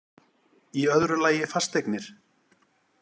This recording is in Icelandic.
Í öðru lagi fasteignir